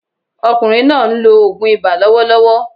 Ọkùnrin náà ń lo ògùn ibà lọ́wọ́lọ́wọ́